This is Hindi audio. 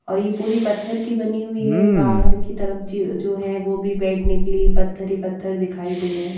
और ये पूरी पत्थर की बनी हुई है बाहर की तरफ ज जो हैवो भी बैठने के लिए पत्थर ही पत्थर दिखाई दे रहे हैं।